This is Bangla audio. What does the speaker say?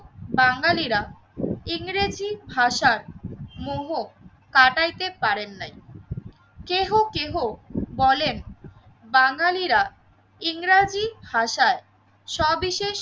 বাঙালিরা ইংরেজি ভাষার মোহ কাটাইতে পারেন নাই। কেহ কেহ বলেন বাঙালিরা ইংরেজি ভাষায় সবিশেষ